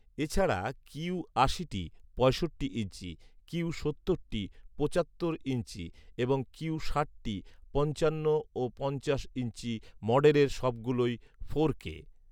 এছাড়া কিউ আশিটি পঁয়ষট্টি ইঞ্চি, কিউ সত্তরটি পঁচাত্তর ইঞ্চি, এবং কিউ ষাট টি পঞ্চান্ন ইঞ্চি ও পঞ্চাশ ইঞ্চি মডেলের সবগুলোই ফোরকে